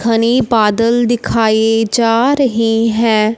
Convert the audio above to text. घने बादल दिखाए जा रहे है।